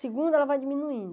Segundo, ela vai diminuindo.